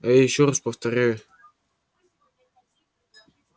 а я ещё раз повторяю